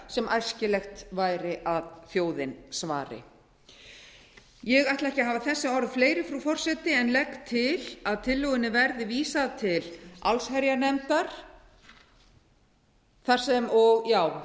sem æskilegt væri að þjóðin svaraði ég ætla ekki að hafa þessi orð fleiri frú forseti en legg til að tillögunni verði vísað til allsherjarnefndar þar